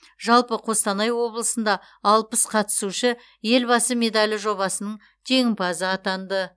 жалпы қостанай облысында алпыс қатысушы елбасы медалі жобасының жеңімпазы атанды